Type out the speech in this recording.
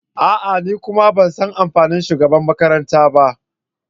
A'a! Ni kuma ban san amfani shugabanmakaranta ba.